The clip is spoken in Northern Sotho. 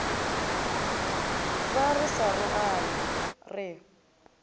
be re sa rogane re